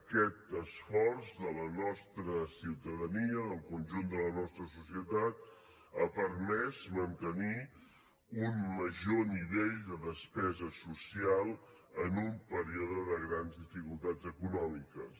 aquest esforç de la nostra ciutadania del conjunt de la nostra societat ha permès mantenir un major nivell de despesa social en un període de grans dificultats econòmiques